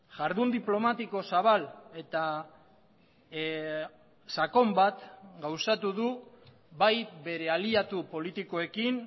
jardun diplomatiko zabal eta sakon bat gauzatu du bai bere aliatu politikoekin